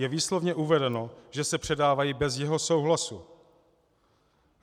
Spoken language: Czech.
Je výslovně uvedeno, že se předávají bez jeho souhlasu.